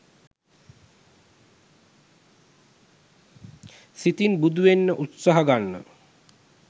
සිතින් බුදුවෙන්න උත්සාහ ගන්න.